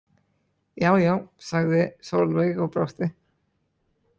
Jájá, sagði Sólveig og brosti.